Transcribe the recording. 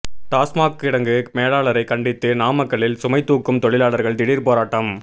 டாஸ்மாக் கிடங்கு மேலாளரை கண்டித்து நாமக்கல்லில் சுமை தூக்கும் தொழிலாளர்கள் திடீர் போராட்டம்